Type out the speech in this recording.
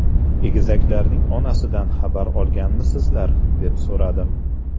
Egizaklarning onasidan xabar olganmisizlar?” deb so‘radim.